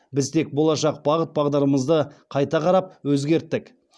біз тек болашақ бағыт бағдарымызды қайта қарап өзгерттік